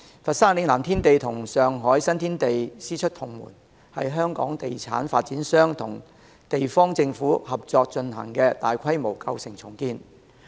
佛山嶺南天地與上海新天地師出同門，是香港地產發展商與地方政府合作進行的大規模舊城重建。